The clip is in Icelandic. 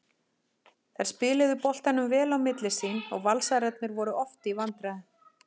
Þær spiluðu boltanum vel á milli sín og Valsararnir voru oft í vandræðum.